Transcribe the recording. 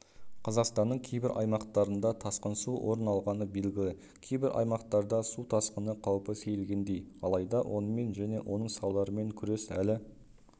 қазақстанның кейбір аймақтарында тасқын су орын алғаны белгілі кейбір аймақтарда су тасқыны қаупі сейілгендей алайда онымен және оның салдарымен күрес әлі